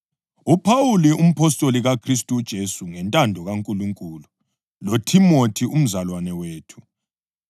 UPhawuli, umpostoli kaKhristu uJesu ngentando kaNkulunkulu, loThimothi umzalwane wethu,